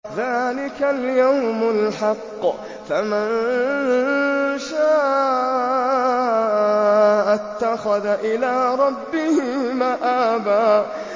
ذَٰلِكَ الْيَوْمُ الْحَقُّ ۖ فَمَن شَاءَ اتَّخَذَ إِلَىٰ رَبِّهِ مَآبًا